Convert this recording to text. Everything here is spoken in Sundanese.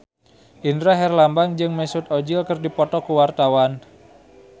Indra Herlambang jeung Mesut Ozil keur dipoto ku wartawan